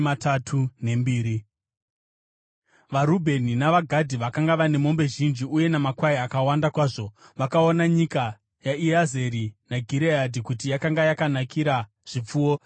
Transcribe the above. VaRubheni navaGadhi, vakanga vane mombe zhinji uye namakwai akawanda kwazvo, vakaona nyika yaJazeri neGireadhi kuti yakanga yakanakira zvipfuwo.